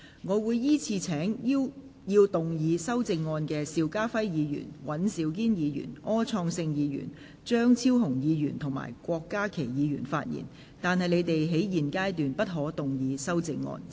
我會依次請要動議修正案的邵家輝議員、尹兆堅議員、柯創盛議員、張超雄議員及郭家麒議員發言；但他們在現階段不可動議修正案。